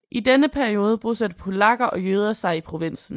I denne periode bosatte polakker og jøder sig i provinsen